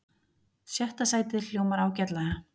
Sjötta sætið hljómar ágætlega